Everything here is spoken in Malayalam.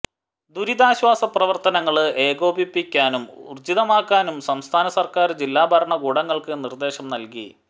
ദുരിതാശ്വാസ പ്രവര്ത്തനങ്ങള് ഏകോപിപ്പിക്കാനും ഊര്ജ്ജിതമാക്കാനും സംസ്ഥാന സര്ക്കാര് ജില്ലാ ഭരണകൂടങ്ങള്ക്ക് നിര്ദേശം നല്കി